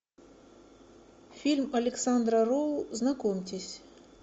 фильм александра роу знакомьтесь